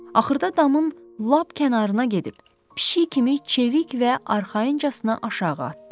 Axırda damın lap kənarına gedib, pişik kimi çevik və arxayıncasına aşağı atdı.